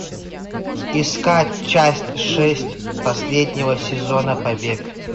искать часть шесть последнего сезона побег